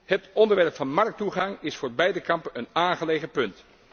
Het onderwerp van markttoegang is voor beide kampen een aangelegen punt.